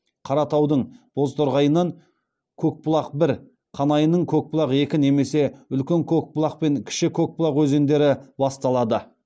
қаратаудың бозторғайынан көкбұлақ бір қанайының көкбұлақ екі немесе үлкен көкбұлақ пен кіші көкбұлақ өзендері басталады